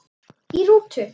Í rútu